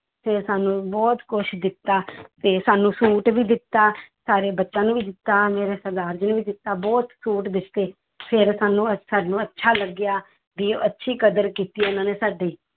ਫਿਰ ਸਾਨੂੰ ਬਹੁਤ ਕੁਛ ਦਿੱਤਾ ਤੇ ਸਾਨੂੰ ਸੂਟ ਵੀ ਦਿੱਤਾ, ਸਾਰੇ ਬੱਚਿਆਂ ਨੂੰ ਵੀ ਦਿੱਤਾ ਮੇਰੇ ਸਰਦਾਰ ਜੀ ਨੂੰ ਵੀ ਦਿੱਤਾ, ਬਹੁਤ ਸੂਟ ਦਿੱਤੇ ਫਿਰ ਸਾਨੂੰ ਅ~ ਸਾਨੂੰ ਅੱਛਾ ਲੱਗਿਆ ਵੀ ਅੱਛੀ ਕਦਰ ਕੀਤੀ ਉਹਨਾਂ ਨੇ ਸਾਡੀ